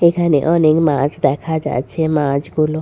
এখানে অনেক মাছ দেখা যাচ্ছে। মাছগুলো --